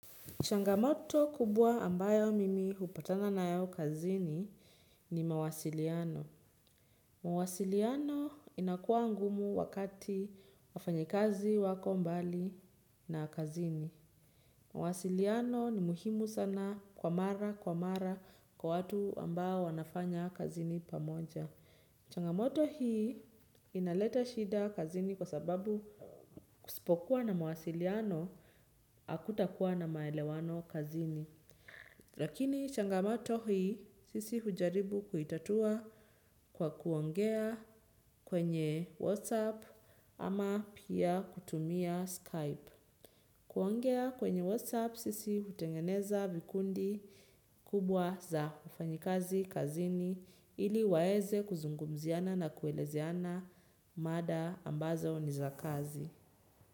Changamoto kubwa ambayo mimi hupatana nayo kazini ni mawasiliano. Mawasiliano inakua ngumu wakati wafanyikazi wako mbali na kazini. Mawasiliano ni muhimu sana kwa mara kwa mara kwa watu ambao wanafanya kazini pamoja. Changamoto hii inaleta shida kazini kwa sababu kusipokuwa na mawasiliano hakutakuwa na maelewano kazini. Lakini changamato hii sisi hujaribu kuitatua kwa kuongea kwenye Whatsapp ama pia kutumia Skype. Kuongea kwenye Whatsapp sisi hutengeneza vikundi kubwa za wafanyikazi kazini ili waweze kuzungumziana na kuelezeana mada ambazo ni za kazi.